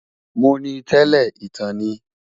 Mó ni tèlè itán ni